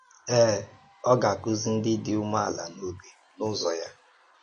Ee, ọ gà-akụ́zi ndị̀ dị umeala n’obi ụzọ̀ ya.